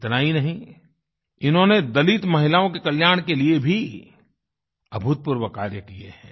इतना ही नहीं इन्होंने दलित महिलाओं के कल्याण के लिए भी अभूतपूर्व कार्य किये हैं